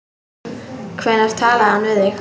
Hvenær talaði hann við þig?